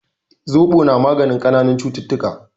Zobo na magani kananan cututtuka